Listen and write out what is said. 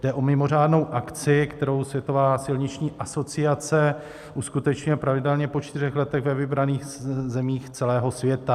Jde o mimořádnou akci, kterou Světová silniční asociace uskutečňuje pravidelně po čtyřech letech ve vybraných zemích celého světa.